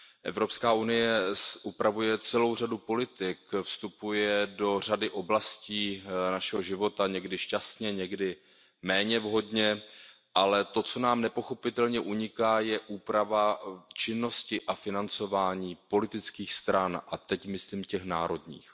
Evropská unie upravuje celou řadu politik, vstupuje do řady oblastí našeho života, někdy šťastně, někdy méně vhodně, ale to, co nám nepochopitelně uniká, je úprava činnosti a financování politických stran, a teď myslím těch národních.